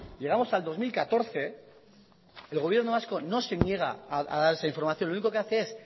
llegamos al dos mil catorce el gobierno vasco no se niega a dar esa información lo único que hace es